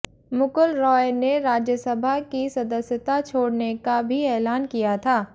मुकुल रॉय ने राज्यसभा की सदस्यता छोड़ने का भी ऐलान किया था